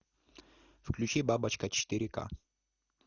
включи бабочка четыре ка